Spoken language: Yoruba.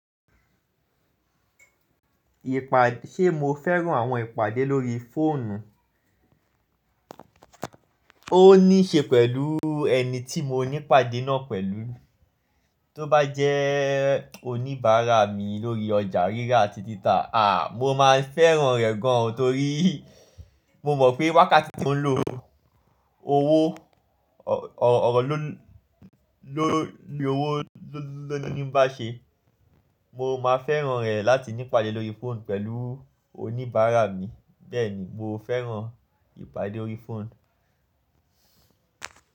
Ìpà, ṣé mo fẹ́ràn àwọn ìpàdé lórí fóònù? Ó ní ṣe pẹ̀lú ẹni tí mo ní ìpàdé náà pẹ̀lú. Tóbá jẹ́ oníbàárà mi lórí ọjà rírà àti títà, à, mo máa fẹ́ràn rẹ̀ gan, torí mo mọ̀ pé wákàtí tí mò ń lo owó, ọ̀rọ̀ ló ni owó ló ní bá ṣe. Mo máa fẹ́ràn rẹ̀ láti ní ìpàdé lórí fóònù pẹ̀lú oníbàárà mi. Bẹ́ẹ̀ni, mo fẹ́ràn ìpàdé órí fóònù.